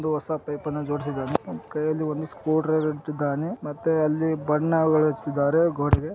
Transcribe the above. [ ಒಂದು ಹೊಸ ಪೇಪರ್ನ ಜೋಡಿಸಿದನೆ ಕೈಯಲ್ಲಿ ಒಂದು ಸ್ಕುಡ್ರೈವರ್ ಇಟ್ಟಿದ್ದಾನೆ. ಮತ್ತು ಅಲ್ಲಿ ಬಣ್ಣ ಬಡಿದಿದರೆ ಗೋಡೆಗೆ.